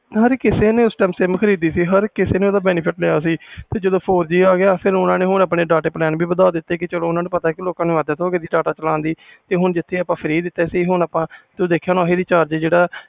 ਹਰ ਕਿਸੇ sim ਖਰੀਦੀ ਸੀ ਹਰ ਕਿਸੇ ਨੇ benefit ਲਿਆ ਸੀ ਜਦੋ four G ਆ ਗਿਆ ਹੁਣ ਓਹਨੇ ਨੇ ਆਪਣੇ data plan ਵੀ ਵਾਧਾ ਦਿਤੇ ਹੁਣ ਓਹਨਾ ਨੂੰ ਪਤਾ ਲੋਕ ਨੂੰ ਅੱਦਾਤ ਹੋ ਗਈ ਆ ਜਿਥੇ free ਦਿਤੇ ਸੀ ਹੁਣ ਦੇਖਿਆ ਹੋਣਾ ਹਰ ਕਿਸੇ ਨੇ